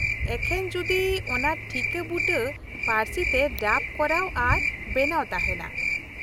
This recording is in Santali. -ᱮᱠᱷᱮᱱ ᱡᱩᱫᱤ ᱚᱱᱟ ᱴᱷᱤᱠᱟ. ᱵᱩᱴᱟᱹ ᱯᱟ.ᱨᱥᱤ ᱛᱮ ᱰᱟᱵ ᱠᱚᱨᱟᱣ ᱟᱨ ᱵᱮᱱᱟᱣ ᱛᱟᱦᱮᱱᱟ ᱾